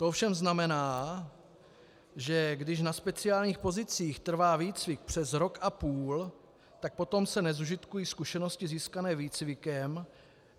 To ovšem znamená, že když na speciálních pozicích trvá výcvik přes rok a půl, tak potom se nezužitkují zkušenosti získané výcvikem.